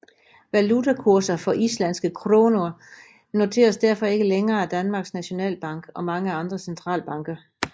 Valutakurser for islandske krónur noteres derfor ikke længere af Danmarks Nationalbank og mange andre centralbanker